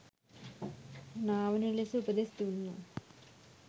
නාවන ලෙස උපදෙස් දුන්නා.